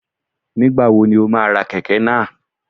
Nígbàwo ni o má a ra Kẹ̀kẹ́ náà?